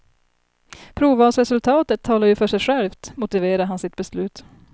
Provvalsresultatet talar ju för sig självt, motiverar han sitt beslut.